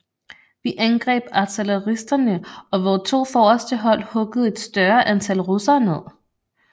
Vi angreb artilleristerne og vore to forreste hold huggede et større antal russere ned